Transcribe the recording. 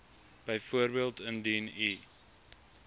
byvoorbeeld indien u